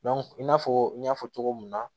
i n'a fɔ n y'a fɔ cogo mun na